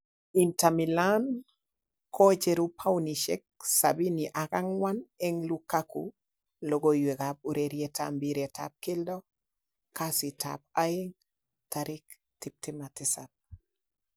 Inter Milan kocheru paunisiek 74 en Lukaku logoiywekab urerietab mpiretab keldo kasitab aeng 27.